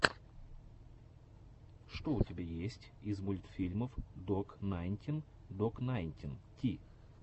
что у тебя есть из мультфильмов док найнтин док найнтин ти